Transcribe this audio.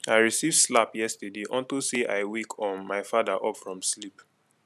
i receive slap yesterday unto say i wake um my father up from sleep